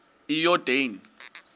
iyordane